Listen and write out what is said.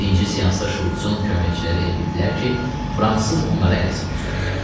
Birinci seansda Şults-un köməkçiləri elə bildilər ki, fransız onları ələ salır.